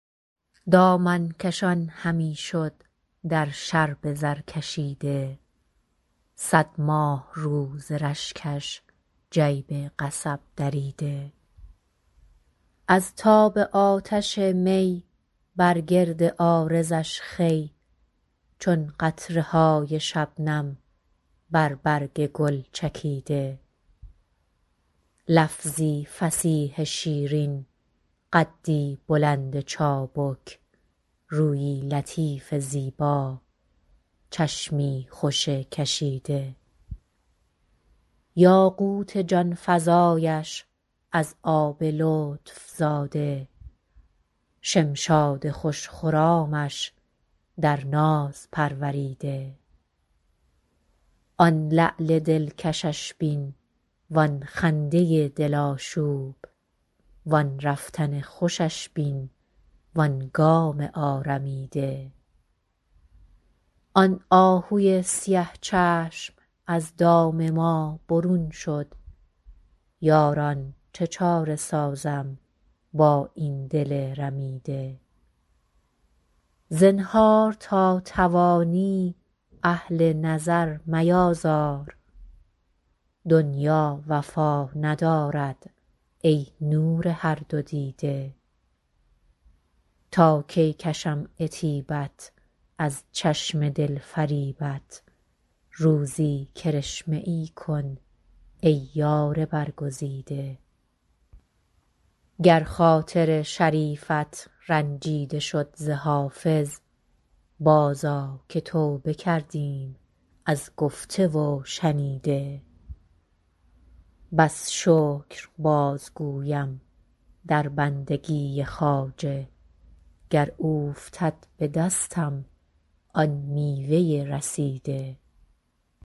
دامن کشان همی شد در شرب زرکشیده صد ماهرو ز رشکش جیب قصب دریده از تاب آتش می بر گرد عارضش خوی چون قطره های شبنم بر برگ گل چکیده لفظی فصیح شیرین قدی بلند چابک رویی لطیف زیبا چشمی خوش کشیده یاقوت جان فزایش از آب لطف زاده شمشاد خوش خرامش در ناز پروریده آن لعل دلکشش بین وآن خنده دل آشوب وآن رفتن خوشش بین وآن گام آرمیده آن آهوی سیه چشم از دام ما برون شد یاران چه چاره سازم با این دل رمیده زنهار تا توانی اهل نظر میآزار دنیا وفا ندارد ای نور هر دو دیده تا کی کشم عتیبت از چشم دل فریبت روزی کرشمه ای کن ای یار برگزیده گر خاطر شریفت رنجیده شد ز حافظ بازآ که توبه کردیم از گفته و شنیده بس شکر بازگویم در بندگی خواجه گر اوفتد به دستم آن میوه رسیده